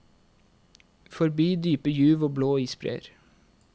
Forbi dype juv og blå isbreer.